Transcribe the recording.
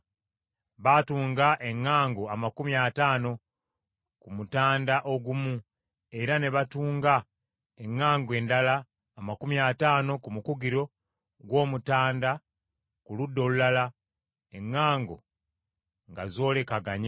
Baatunga eŋŋango amakumi ataano ku mutanda ogumu, era ne batunga eŋŋango endala amakumi ataano ku mukugiro gw’omutanda ku ludda olulala, eŋŋango nga zoolekaganye.